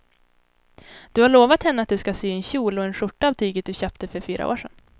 Du har lovat henne att du ska sy en kjol och skjorta av tyget du köpte för fyra år sedan.